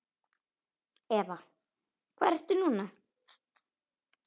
Eva: Hvar ertu núna?